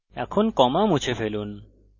এখন comma মুছে ফেলুন